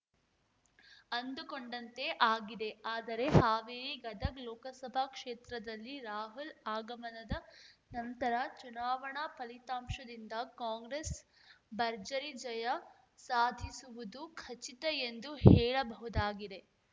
ಅಂದುಕೊಂಡಂತೆ ಆಗಿದ್ದೇ ಆದರೆ ಹಾವೇರಿ ಗದಗ್ ಲೋಕಸಭಾ ಕ್ಷೇತ್ರದಲ್ಲಿ ರಾಹುಲ್ ಆಗಮನದ ನಂತರ ಚುನಾವಣಾ ಫಲಿತಾಂಶದಿಂದ ಕಾಂಗ್ರೆಸ್ ಭರ್ಜರಿ ಜಯ ಸಾಧಿಸುವುದು ಖಚಿತ ಎಂದು ಹೇಳಬಹುದಾಗಿದೆ